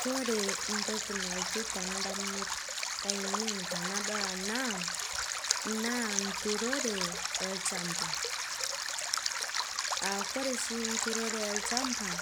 Kore ntokii nalotuu ta ndamunoot anieen tanadol ana naa nturore e lchambaa aa kore shii nturore elchambaa